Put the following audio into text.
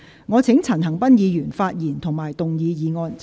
我請陳恒鑌議員發言及動議議案。